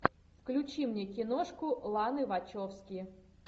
включи мне киношку ланы вачовски